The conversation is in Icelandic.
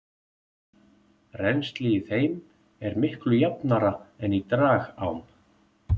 Rennsli í þeim er miklu jafnara en í dragám.